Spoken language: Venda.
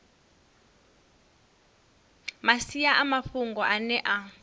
masia a mafhungo ane a